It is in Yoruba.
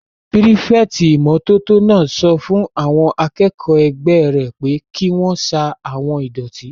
Pírífẹ̀tì ìmótótó náà sọ fún àwọn akẹ́kọ̀ọ́ ẹgbẹ́ rẹ̀ pé kí wọ́n sa àwon ìdọ̀tí